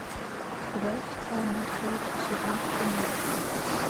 когда официально откроется сезон в крыму